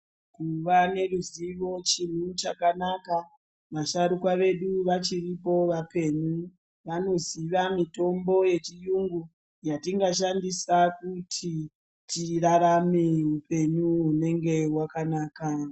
Kuva neruzivo chinhu chakanaka. Vasharukwa vedu vachiripo vapenyu vanoziva mitombo yechiyungu yatingashandisa kuti tirarame upenyu hunenge hwakanaka.